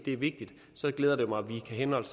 er vigtig glæder det mig at vi kan henholde